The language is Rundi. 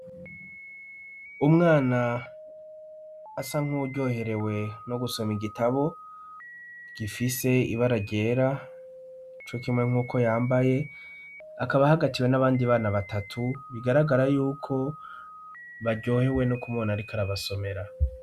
Umwana asa nk'uwuryoherewe no gusoma igitabo gifise ibara ryera co kimwe nk'uko yambaye akaba hagatiwe n'abandi bana batatu bigaragara yuko baryohewe no kumona, ariko arabasomera.